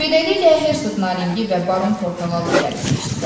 Beləliklə, Hersoq Naringi və baron Portağal da gəlib keçdilər.